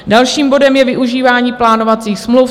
Dalším bodem je využívání plánovacích smluv.